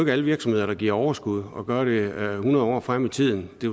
er alle virksomheder der giver overskud og gør det hundrede år frem i tiden det